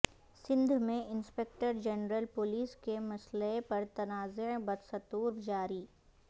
سندھ میں inspector general police کے مسئلے پر تنازع بدستور جاری